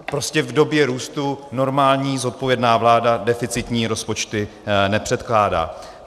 Prostě v době růstu normální zodpovědná vláda deficitní rozpočty nepředkládá.